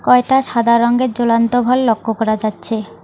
কয়েকটা সাদা রঙের জ্বলন্ত ভল লক্ষ্য করা যাচ্ছে।